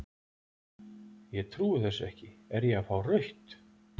Ég trúi þessu ekki, er ég að fá rautt?